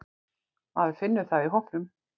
Maður finnur það í hópnum.